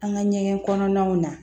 An ka ɲɛgɛn kɔnɔnaw na